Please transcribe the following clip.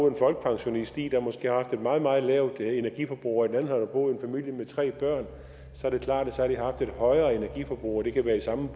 en folkepensionist der måske har haft et meget meget lavt energiforbrug og i det andet har boet en familie med tre børn så er det klart at de har haft et højere energiforbrug og det kan være samme